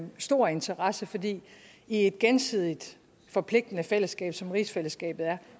stor interesse fordi i et gensidigt forpligtende fællesskab som rigsfællesskabet er